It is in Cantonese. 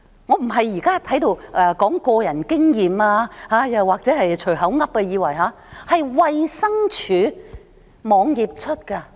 我不是在這裏說個人經驗或空口說白話，而是衞生署網頁的資料。